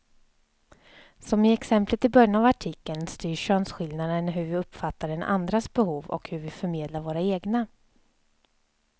Som i exemplet i början av artikeln styr könsskillnaderna hur vi uppfattar den andras behov och hur vi förmedlar våra egna.